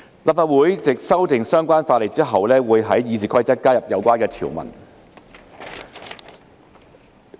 立法會藉修訂相關法例後，會在《議事規則》加入有關條文。